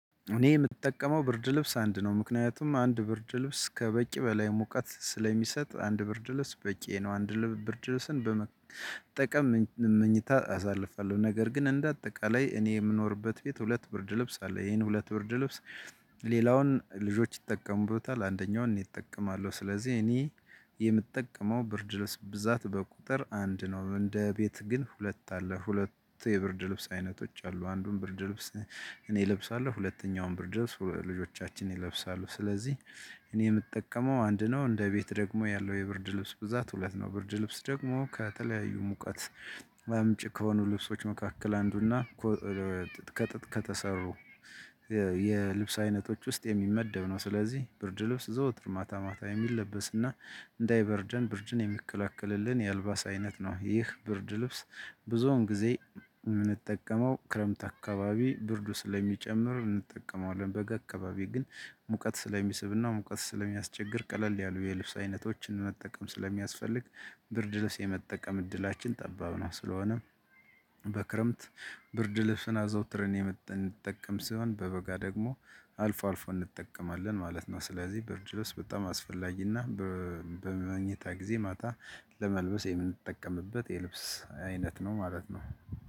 እኔ የምጠቀመው ብርድ ልብስ አንድ ነው ምክንያቱም አንድ ብርድ ልብስ ከበቂ በላይ ሙቀት ስለሚሰጥ አንድ ብርድ ልብስ በቂ ነው። አንድ ብርድለስን በመጠቀም መኝታ አሳልፋለሁ ነገር ግን እንደ አጠቃላይ እኔ የምኖርበት ቤት ሁለት ብርድ ልብስ አለ። ይሄን ሁለት ብርድ ልብስ። ሌላውን ልጆች ይጠቀሙበታል አንደኛውን እኔ እጠቀማለሁ ስለዚህ እኔ የምጠቀመው ብርድልብስ ብዛት በቁጥር አንድ ነው። እንደ ቤት ግን ሁለት አለ ሁለት የብርድ ልብስ አይነቶች አሉ። አንዱን ብርድ ልብስ። እኔ እለብሳለሁ ሁለተኛውን ብርድ ልብስ ልጆቻችን ይለብሳሉ። ስለዚህ እኔ የምጠቀመው አንድ ነው። እንደ ቤት ደግሞ ያለው የብርድ ልብስ ብዛት ሁለት ነው። ብርድ ልብስ ደግሞ ከተለያዩ ሙቀት አምጪ ከሆኑ ልብሶች መካከል አንዱና። ከተሰሩ የልብስ አይነቶች ውስጥ የሚመደብ ነው። ስለዚህ ብርድ ልብስ ዘወትር ማታ ማታ የሚለበስና እንዳይበርደን ብርድን የሚከላከልልን የአልባስ አይነት ነው። ይህ ብርድ ልብስ ብዙውን ጊዜ የምንጠቀመው ክረምት አካባቢ ብርዱ ስለሚጨምር እንጠቀመዋለን። በጋ አካባቢ ግን ሙቀት ስለሚስብና ሙቀት ስለሚያስቸግር ቀለል ያሉ የልብስ አይነቶችን መጠቀም ስለሚያስፈልግ ብርድ ልብስ የመጠቀም እድላችን ጠባብ ነው። ስለሆነ በክረምት ብርድ ልብስን አዘውትርን የምንጠቀም ሲሆን በበጋ ደግሞ አልፎ አልፎ እንጠቀማለን ማለት ነው። ስለዚህ ብርድልብስ በጣም አስፈላጊና በመኝታ ጊዜ ማታ ለመልበስ የምንጠቀምበት የልብስ አይነት ነው። ማለት ነው።